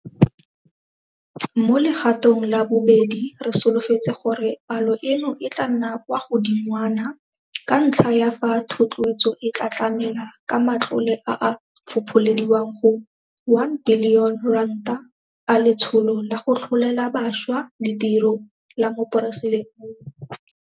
Mo legatong la bobedi re solofetse gore palo eno e tla nna kwa godingwana, ka ntlha ya fa thotloetso e tla tlamela ka matlole a a fopholediwang go R1 bilione a Letsholo la go Tlholela Bašwa Ditiro la Moporesidente.